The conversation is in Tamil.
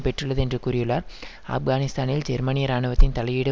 பெற்றுள்ளது என்று கூறியுள்ளார் ஆப்கானிஸ்தானில் ஜெர்மனிய இராணுவத்தின் தலையீடு